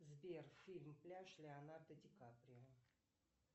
сбер фильм пляж леонардо ди каприо